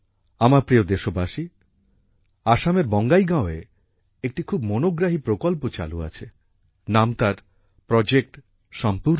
আমার প্রিয় দেশবাসী আসামের বঁগাইগাঁও একটি খুব মনোগ্রাহী প্রকল্প চালু আছে নাম তার প্রজেক্ট সম্পূর্ণা